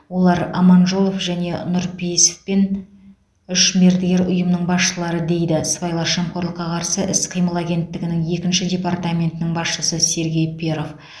олар аманжолов және нұрпейісов пен үш мердігер ұйымның басшылары дейді сыбайлас жемқорлыққа қарсы іс қимыл агентігінің екінші департаментінің басшысы сергей перов